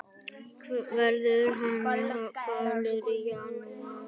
Verður hann falur í janúar?